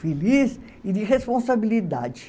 Feliz e de responsabilidade.